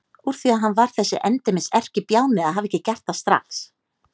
Úr því að hann var þessi endemis erkibjáni að hafa ekki gert það strax!